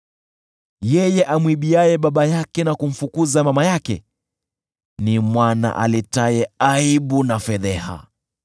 Yeye amwibiaye baba yake na kumfukuza mama yake ni mwana aletaye aibu na fedheha.